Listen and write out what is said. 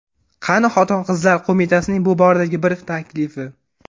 Qani Xotin-qizlar qo‘mitasining bu boradagi bir taklifi?